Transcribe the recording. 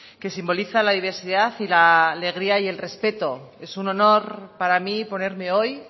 que simboliza la diversidad y la alegría y el respeto es un honor para mí ponerme hoy